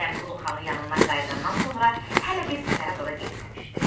Ələmqulu Xanın yanından qayıdandan sonra hələ bir səfərə zada getməmişdi.